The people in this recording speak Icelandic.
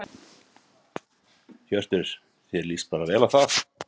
Hjörtur: Þér lýst bara vel á það?